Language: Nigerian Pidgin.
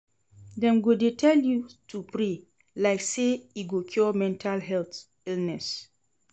Dem go dey tell you to pray like sey e go cure mental health illness.